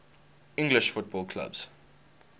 english football clubs